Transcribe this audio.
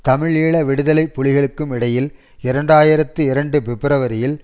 தமிழீழ விடுதலை புலிகளுக்கும் இடையில் இரண்டு ஆயிரத்தி இரண்டு பிப்ரவரியில்